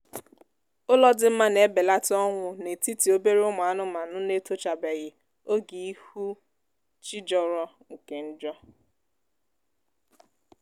ụlọ dị mma na-ebelata ọnwụ na-etiti obere ụmụ anụmanụ na-etochabeghi oge ihu chi jọrọ nke njọ